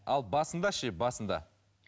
ал басында ше басында